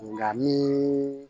Nka min